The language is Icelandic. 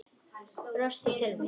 Brostir til mín.